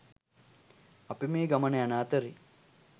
අපි මේ ගමන යන අතරේ